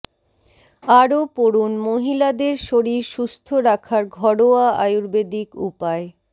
আরও পড়ুন মহিলাদের শরীর সুস্থ রাখার ঘরোয়া আয়ুর্বেদিক উপায়